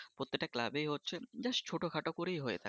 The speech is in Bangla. প্রত্যেকটা club এই হচ্ছে just ছোটো খাটো করেই হয়ে থাকে